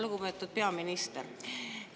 Lugupeetud peaminister!